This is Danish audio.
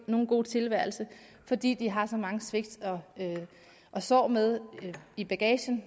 nogen god tilværelse fordi de har så mange svigt og sår med i bagagen